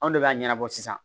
Anw de b'a ɲɛnabɔ sisan